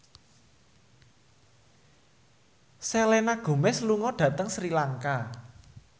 Selena Gomez lunga dhateng Sri Lanka